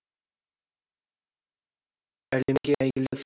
әлемге әйгілі